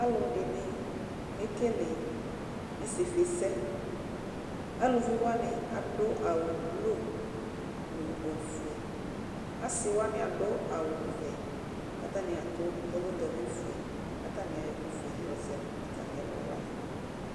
Alʋdini kekele isifisɛ. Alʋviwani adʋ awvblu, nʋ ofue, asiwani adʋ awʋvɛ kʋ atani adʋ tonogavi fue kʋ atani ayɔ ɛkʋfue yɔzɛ nʋ atani ɛlʋwani.